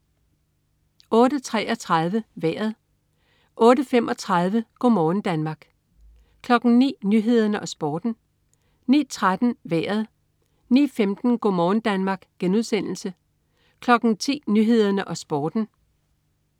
08.33 Vejret (man-fre) 08.35 Go' morgen Danmark (man-fre) 09.00 Nyhederne og Sporten (man-fre) 09.13 Vejret (man-fre) 09.15 Go' morgen Danmark* (man-fre) 10.00 Nyhederne og Sporten (man-fre)